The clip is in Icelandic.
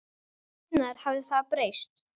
Hvenær hafði það breyst?